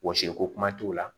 Wɔsi ko kuma t'o la